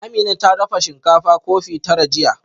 Amina ta dafa shinkafa kofi tara jiya